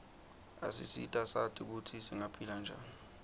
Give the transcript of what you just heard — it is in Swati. asisita sati kutsi singaphila njani